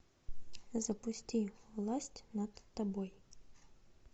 запусти власть над тобой